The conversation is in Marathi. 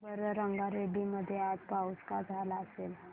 सांगा बरं रंगारेड्डी मध्ये आज पाऊस का झाला असेल